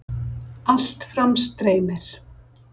Allt fram streymir